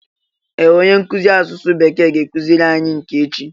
Ee! Onye nkụzi asụsụ bekee ga-akụziri anyi nke echi